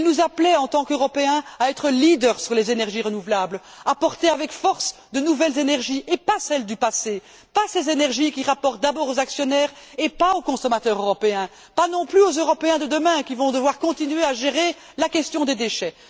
Il nous appelait, en tant qu'Européens, à être leaders sur les énergies renouvelables, à porter avec force de nouvelles énergies et pas celles du passé, pas ces énergies qui rapportent d'abord aux actionnaires, et non aux consommateurs européens ni aux Européens de demain qui vont devoir continuer à gérer la question des déchets.